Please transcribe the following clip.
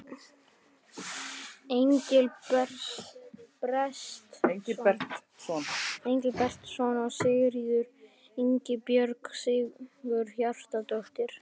Engilbertsson og Sigríður Ingibjörg Sigurhjartardóttir.